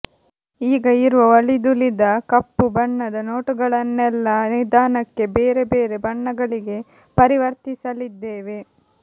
ಈಗ ಇರುವ ಅಳಿದುಳಿದ ಕಪ್ಪು ಬಣ್ಣದ ನೋಟುಗಳನ್ನೆಲ್ಲ ನಿಧಾನಕ್ಕೆ ಬೇರೆ ಬೇರೆ ಬಣ್ಣಗಳಿಗೆ ಪರಿವರ್ತಿಸಲಿದ್ದೇವೆ